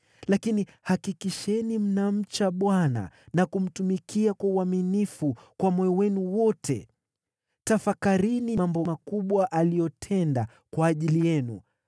Lakini hakikisheni mnamcha Bwana na kumtumikia kwa uaminifu kwa moyo wenu wote; tafakarini mambo makubwa aliyoyatenda kwa ajili yenu.